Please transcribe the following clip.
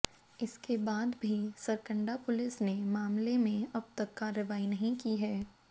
इसके बाद भी सरकंडा पुलिस ने मामले में अब तक कार्रवाई नहीं की है